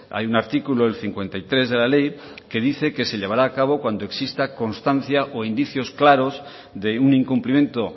hay un artículo el cincuenta y tres de la ley que dice que se llevara a cabo cuando exista constancia o indicios claros de un incumplimiento